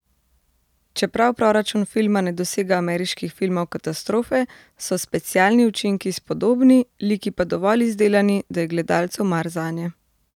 Čeprav proračun filma ne dosega ameriških filmov katastrofe, so specialni učinki spodobni, liki pa dovolj izdelani, da je gledalcu mar zanje.